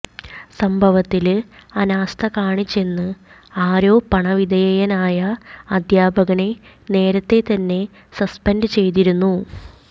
സംഭവത്തില് അനാസ്ഥ കാണിച്ചെന്ന് ആരോപണവിധേയനായ അധ്യാപകനെ നേരത്തെ തന്നെ സസ്പെന്ഡ് ചെയ്തിരുന്നു